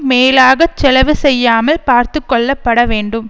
மேலாகச் செலவு செய்யாமல் பார்த்து கொள்ளப்பட வேண்டும்